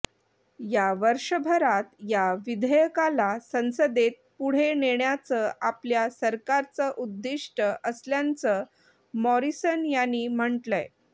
या वर्षभरात या विधेयकाला संसदेत पुढे नेण्याचं आपल्या सरकारचं उद्दिष्टं असल्याचं मॉरिसन यांनी म्हटलंय